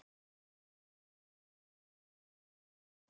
Ég vil út!